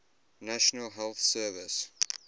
national health service